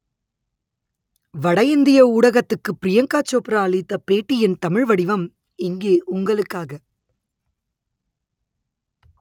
வடஇந்திய ஊடகத்துக்கு ப்ரியங்கா சோப்ரா அளித்த பேட்டியின் தமிழ் வடிவம் இங்கே உங்களுக்காக